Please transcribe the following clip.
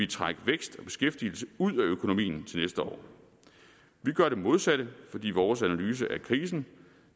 trække vækst og beskæftigelse ud af økonomien til næste år vi gør det modsatte fordi vores analyse af krisen